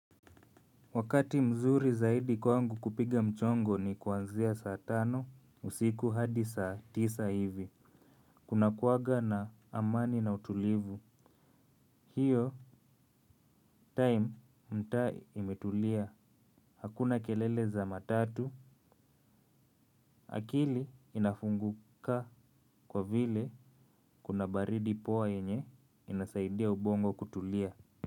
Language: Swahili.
Wakati mzuri zaidi kwangu kupiga mchongo ni kuanzia saa tano usiku hadi saa tisa hivi. Kunakuwaga na amani na utulivu. Hiyo time mtaa imetulia. Hakuna kelele za matatu. Akili inafunguka kwa vile kuna baridi poa yenye inasaidia ubongo kutulia.